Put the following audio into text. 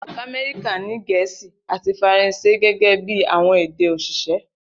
Ilu Kamẹrika ni Gẹẹsi ati Faranse gẹgẹbi awọn ede osise.